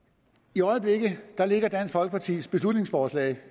i øjeblikket ligger dansk folkepartis beslutningsforslag